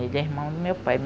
Ele é irmão do meu pai.